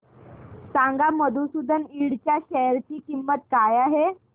सांगा मधुसूदन इंड च्या शेअर ची किंमत काय आहे